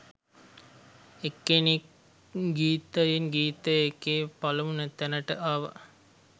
එක්කෙනෙක් ගීතයෙන් ගීතය එකේ පළමු තැනට ආවා